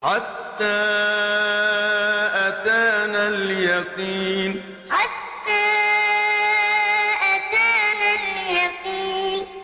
حَتَّىٰ أَتَانَا الْيَقِينُ حَتَّىٰ أَتَانَا الْيَقِينُ